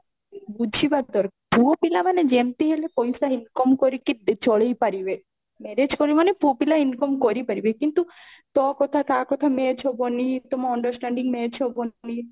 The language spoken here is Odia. ବୁଝିବା ଦରକାର ପୁଅ ପିଲା ମାନେ ଯେମତି ହେଲେ ପଇସା income କରିକି ଚଳେଇପାରିବେ marriage କରିବେ ମାନେ ପୁଅପିଲା income କରିପାରିବେ କିନ୍ତୁ ତ କଥା ତା କଥା match ହବନି ତମ understanding match ହବନି